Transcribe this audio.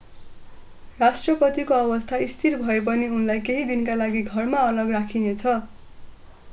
राष्ट्रपतिको अवस्था स्थिर भए पनि उनलाई केही दिनका लागि घरमा अलग राखिनेछ